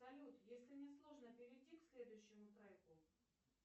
салют если не сложно перейди к следующему треку